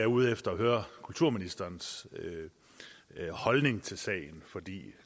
ude efter at høre kulturministerens holdning til sagen for